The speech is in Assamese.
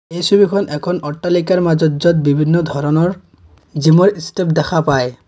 এই ছবিখন এখন অট্টালিকাৰ মাজত য'ত বিভিন্ন ধৰণৰ জিমৰ ষ্টেপ দেখা পায়।